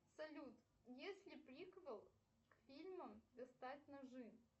салют есть ли приквел к фильмам достать ножи